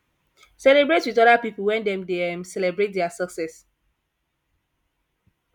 celebrate with oda pipu when dem dey um celebrate dia success